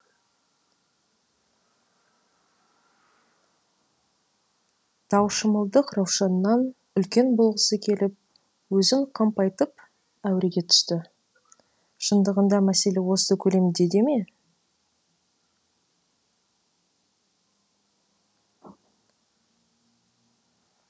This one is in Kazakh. таушымылдық раушаннан үлкен болғысы келіп өзін қампайтып әуреге түсті шындығында мәселе осы көлемде ме